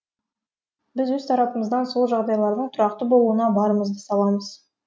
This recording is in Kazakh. біз өз тарапымыздан сол жағдайлардың тұрақты болуына барымызды саламыз